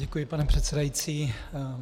Děkuji, pane předsedající.